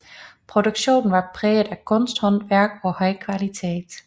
Produktionen var præget af kunsthåndværk og høj kvalitet